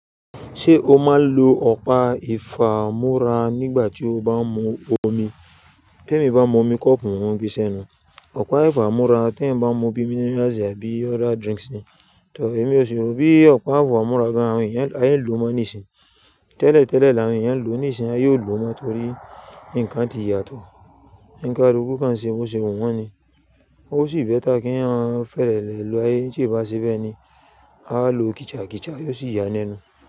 Ṣé o máa ń lo ọ̀pá ìfámú́ra nígbà tí o bá ń mu omi? Tí èmi bá mu omi kọ́ọ̀pù, mo mo n gbe sẹ́nu. Ọ̀pá ìfámú́ra tí èeyan bá n mu bí minerals àbí ọ̀dà drinks ni. Èmi ò ṣi rò bí ọ̀pá ìfámú́ra gan-an àwọn èèyàn, a in lò mọ́ níìsín. Tẹ́lẹ̀ tẹ́lẹ̀ làwọn èèyàn lò ó níìsín, a ye ò lò mọ́ torí ǹkan ti yàtọ̀. O n kaluku kan ṣe, bo ṣe wu wọ́n ni. Ó ṣì bẹ́ta kí eeyan fẹ́rẹ́ lè lo é, tí è bá ṣe bẹ́ẹ ni, a ó lo kìchà kìchà, yóò sì ya nẹ́nu.